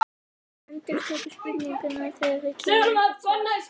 Endurtekur spurninguna þegar það kemur ekkert svar.